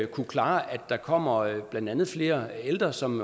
kunne klare at der kommer blandt andet flere ældre som